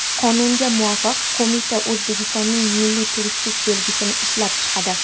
Qonunga muvofiq, qo‘mita O‘zbekistonning milliy turistik belgisini ishlab chiqadi.